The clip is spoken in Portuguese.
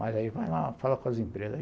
Mas aí vai lá, fala com as empresas.